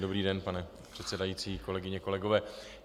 Dobrý den, pane předsedající, kolegyně, kolegové.